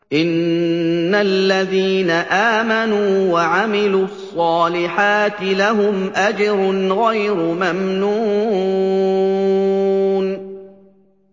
إِنَّ الَّذِينَ آمَنُوا وَعَمِلُوا الصَّالِحَاتِ لَهُمْ أَجْرٌ غَيْرُ مَمْنُونٍ